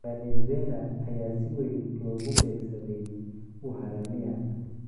Venezuela ayaa si weyn loogu beegsaday uharamia.